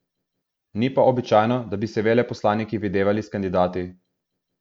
Ni pa običajno, da bi se veleposlaniki videvali s kandidati.